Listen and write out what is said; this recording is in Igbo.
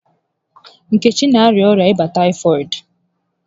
Nkechi n'arịa ọrịa ịba taịfọdụ